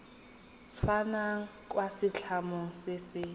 tswang kwa setlamong se se